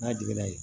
N'a jiginna yen